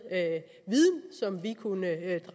viden som vi kunne